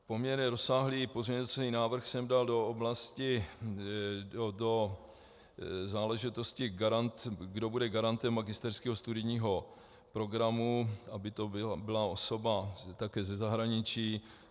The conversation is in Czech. Poměrně rozsáhlý pozměňovací návrh jsem dal do záležitosti, kdo bude garantem magisterského studijního programu, aby to byla osoba také ze zahraničí.